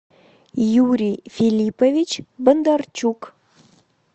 юрий филиппович бондарчук